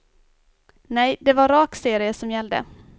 Nej, det var rak serie som gällde.